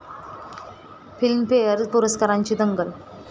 film fair पुरस्कारांची 'दंगल'